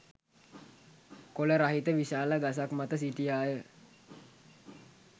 කොළ රහිත විශාල ගසක් මත සිටියාය.